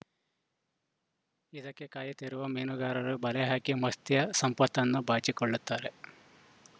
ಇದಕ್ಕೇ ಕಾಯುತ್ತಿರುವ ಮೀನುಗಾರರು ಬಲೆಹಾಕಿ ಮತ್ಸ್ಯ ಸಂಪತ್ತನು ಬಾಚಿಕೊಳ್ಳುತ್ತಾರೆ